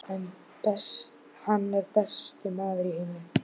Hann er besti maður í heimi.